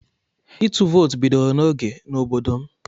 Ịtụ vootu bidoro n'oge n'obodo m.